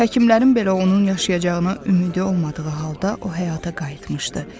Həkimlərin belə onun yaşayacağına ümidi olmadığı halda o həyata qayıtmışdı.